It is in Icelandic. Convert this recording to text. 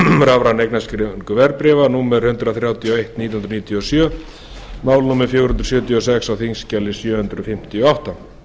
rafræna eignarskráningu verðbréfa númer hundrað þrjátíu og eitt nítján hundruð níutíu og sjö mál númer fjögur hundruð sjötíu og sex á þingskjali sjö hundruð fimmtíu og átta